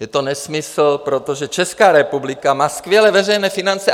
Je to nesmysl, protože Česká republika má skvělé veřejné finance.